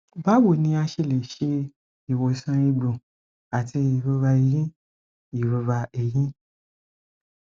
bawo ni a ṣe le ṣe iwosan egbo ati irora eyin irora eyin